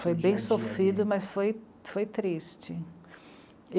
Foi bem sofrido, mas foi, foi triste.